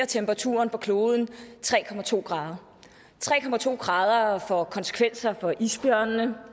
temperaturen på kloden tre grader tre grader får konsekvenser for isbjørnene